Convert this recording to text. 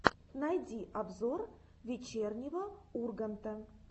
найди обзор вечернего урганта